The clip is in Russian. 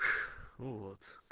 ну вот